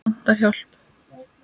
Vantar hjálp.